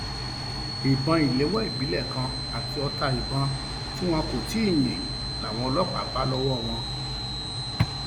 ìbọn ìléwọ ìbílẹ kan àti ọta ìbọn tí wọn kò um tì í yín làwọn ọlọpàá um bá lọwọ wọn